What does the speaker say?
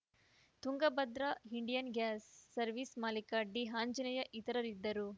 Tungabhadra Indian gas service ಮಾಲೀಕ ಡಿಆಂಜನೇಯ ಇತರರಿದ್ದರು